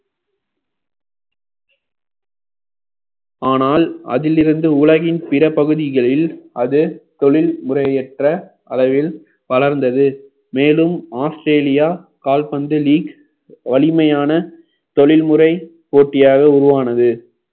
ஆனால் அதிலிருந்து உலகின் பிற பகுதிகளில் அது தொழில் முறையற்ற அளவில் வளர்ந்தது மேலும் ஆஸ்திரேலியா கால்பந்து league வலிமையான தொழில்முறை போட்டியாக உருவானது